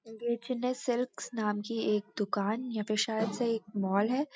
ये चन्नई सिल्क्स नाम की एक दुकान या फिर शायद से एक मॉल है।